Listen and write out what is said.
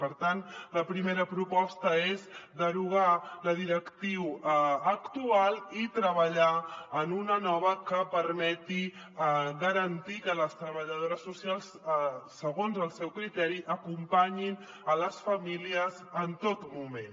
per tant la primera proposta és derogar la directriu actual i treballar en una de nova que permeti garan·tir que les treballadores socials segons el seu criteri acompanyin les famílies en tot moment